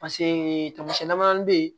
Paseke tamasiyɛn damadɔnin bɛ yen